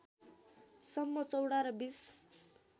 सम्म चौडा र २०